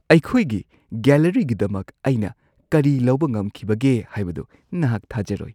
ꯑꯩꯈꯣꯏꯒꯤ ꯒꯦꯂꯔꯤꯒꯤꯗꯃꯛ ꯑꯩꯅ ꯀꯔꯤ ꯂꯧꯕ ꯉꯝꯈꯤꯕꯒꯦ ꯍꯥꯢꯕꯗꯣ ꯅꯍꯥꯛ ꯊꯥꯖꯔꯣꯏ!